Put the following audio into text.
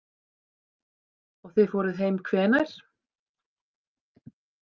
Og þið fóruð heim hvenær?